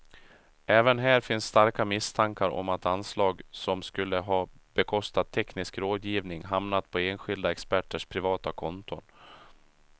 Även här finns starka misstankar om att anslag som skulle ha bekostat teknisk rådgivning hamnat på enskilda experters privata konton.